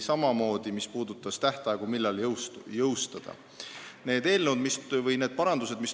See puudutab seaduse jõustumise tähtaegu.